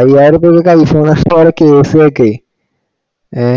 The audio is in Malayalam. ഐയ്യയിരം രൂപയ്ക്കു i phone ഇന്റെ ഒരു case കിട്ടുവെ ഹേ